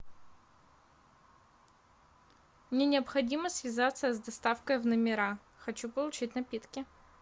мне необходимо связаться с доставкой в номера хочу получить напитки